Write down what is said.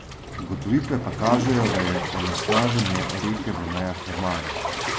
Ugotovitve pa kažejo, da je onesnaženje reke v mejah normale.